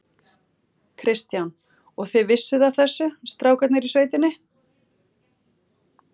Kristján: Og þið vissuð af þessu, strákarnir í sveitinni?